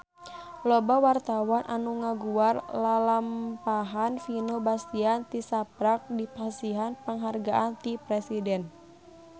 Loba wartawan anu ngaguar lalampahan Vino Bastian tisaprak dipasihan panghargaan ti Presiden